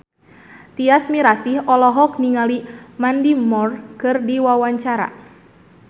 Tyas Mirasih olohok ningali Mandy Moore keur diwawancara